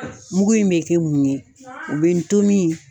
Mugu in bɛ kɛ mun ye o bɛ ntomin